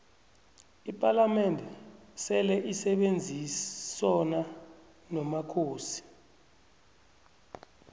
ipalamende seleisebenzisona nomakhosi